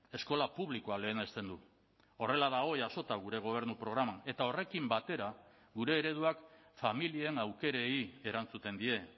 eskola publikoa lehenesten du horrela dago jasota gure gobernu programan eta horrekin batera gure ereduak familien aukerei erantzuten die